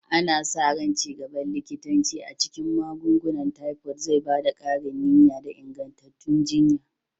Ana sa ran ci gaban likitanci a cikin magungunan tifod zai ba da ƙarin niyya da ingantattun jiyya.